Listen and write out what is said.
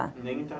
Nem entrar.